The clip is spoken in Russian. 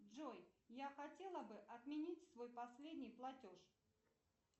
джой я хотела бы отменить свой последний платеж